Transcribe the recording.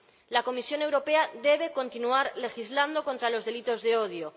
La Comisión Europea debe continuar legislando contra los delitos de odio.